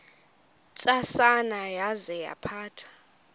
ntsasana yaza yaphatha